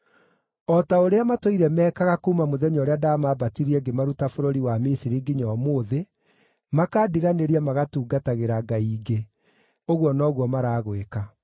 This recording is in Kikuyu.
O ta ũrĩa matũire mekaga ũguo kuuma mũthenya ũrĩa ndamambatirie ngĩmaruta bũrũri wa Misiri nginya ũmũthĩ, makandiganĩria magatungatĩra ngai ingĩ, ũguo noguo maragwĩka.